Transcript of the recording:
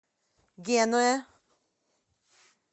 генуя